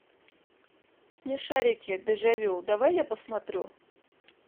смешарики дежавю давай я посмотрю